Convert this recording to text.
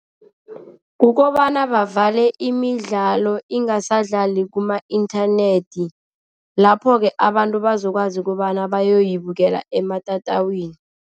Kukobana bavale imidlalo, ingasadlali kuma-inthanethi. Lapho-ke abantu bazokwazi kobana bayoyibukela ematatawini.